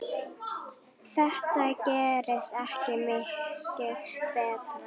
Þetta gerist ekki mikið betra.